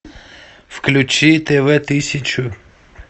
включи тв тысячу